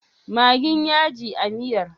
Maggin yaji a miyar?